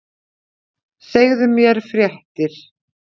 Segðu mér fréttir!